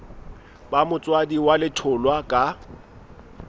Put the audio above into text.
ba motswadi wa letholwa ka